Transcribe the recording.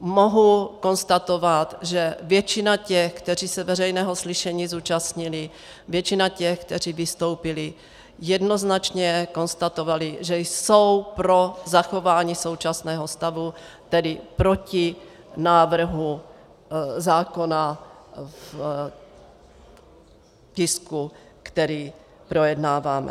Mohu konstatovat, že většina těch, kteří se veřejného slyšení zúčastnili, většina těch, kteří vystoupili, jednoznačně konstatovala, že jsou pro zachování současného stavu, tedy proti návrhu zákona v tisku, který projednáváme.